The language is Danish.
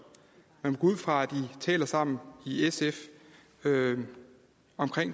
man ud fra at i taler sammen i sf om